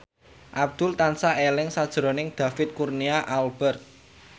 Abdul tansah eling sakjroning David Kurnia Albert